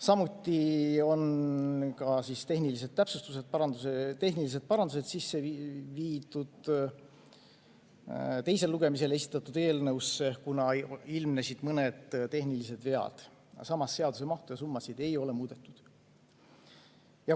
Samuti on tehnilised täpsustused, tehnilised parandused sisse viidud teisele lugemisele esitatud eelnõusse, kuna ilmnesid mõned tehnilised vead, aga samas seaduse mahtu ja summasid ei ole muudetud.